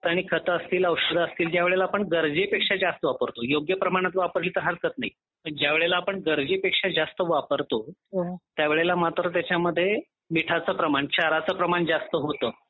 आणि खत असतील औषध असतील जेव्हा आपण ते गरजेचं गरजेपेक्षा जास्त वापरतो योग्य प्रमाणात वापरली तर हरकत नाही पण ज्यावेळेस आपण गरजेपेक्षा जास्त वापरतो त्यावेळेला मात्र त्याच्यामध्ये मिठाचे प्रमाण क्षारचे प्रमाण जास्त होतं.